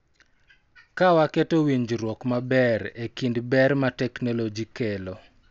Ka waketo winjruok maber e kind ber ma teknoloji kelo